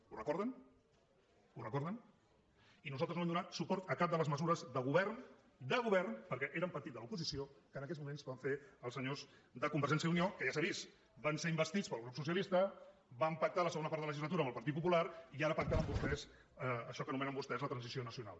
ho recorden ho recorden i nosaltres no vam donar suport a cap de les mesures de govern de govern perquè era un partit de l’oposició que en aquells moments van fer els senyors de convergència i unió que ja s’ha vist van ser investits pel grup socialista van pactar la segona part de legislatura amb el partit popular i ara pacten amb vostès això que anomenen vostès la transició nacional